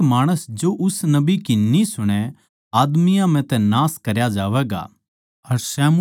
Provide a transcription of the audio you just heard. पर हरेक माणस जो उस नबी की न्ही सुणै आदमियाँ म्ह तै नाश करया जावैगा